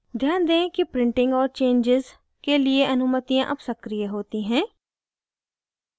ध्यान दें कि printing और changes के लिए अनुमतियाँ अब सक्रीय होती हैं